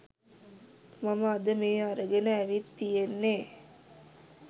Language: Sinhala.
මම අද මේ අරගෙන ඇවිත් තියෙන්නෙ.